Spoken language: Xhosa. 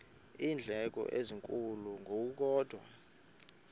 iindleko ezinkulu ngokukodwa